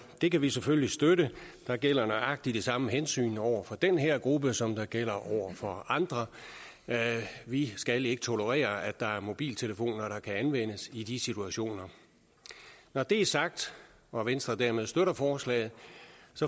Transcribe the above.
det kan vi selvfølgelig støtte der gælder nøjagtig de samme hensyn over for den her gruppe som der gælder over for andre vi skal ikke tolerere at der er mobiltelefoner der kan anvendes i de situationer når det er sagt og venstre dermed støtter forslaget